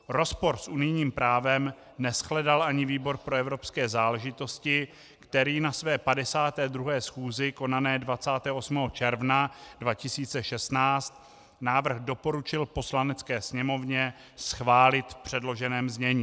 Rozpor s unijním právem neshledal ani výbor pro evropské záležitosti, který na své 52. schůzi konané 28. června 2016 návrh doporučil Poslanecké sněmovně schválit v předloženém znění.